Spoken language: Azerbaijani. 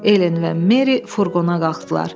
Helen və Meri furqona qalxdılar.